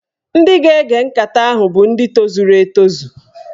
Ndị ga-ege nkata ahụ bụ ndị tozuru etozu